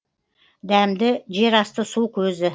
дәмді жер асты су көзі